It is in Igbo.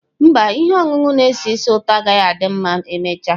Mba, ihe ọṅụṅụ na-esi ísì ụtọ agaghị adị ma emechaa.